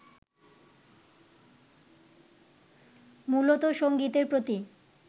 মূলত সঙ্গীতের প্রতি